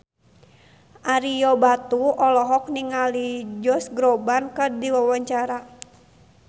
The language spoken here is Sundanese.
Ario Batu olohok ningali Josh Groban keur diwawancara